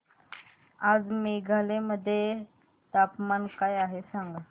आज मेघालय मध्ये तापमान काय आहे सांगा